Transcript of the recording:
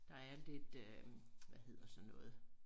Der er lidt øh hvad hedder sådan noget